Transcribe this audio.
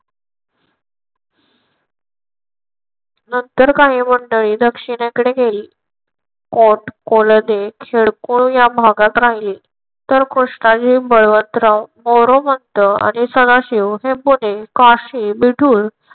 नंतर काही मंडळी दक्षिणेकडे गेली. कोट कोलदे खेडकर या भागात राहिले. तर कृष्णाजी बळवंतराव मोरोपंत आणि सदाशिव हे हे पुणे काशी मिठूर